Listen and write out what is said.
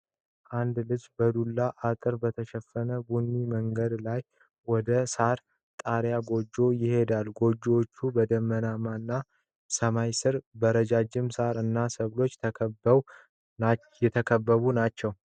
አንድ ልጅ በዱላ አጥር በተሸፈነው ቡኒ መንገድ ላይ ወደ ሳር ጣሪያ ጎጆዎች ይሄዳል። ጎጆዎቹ በደመናማ ሰማይ ስር በረጃጅም ሣር እና ሰብሎች የተከበቡ ናቸው።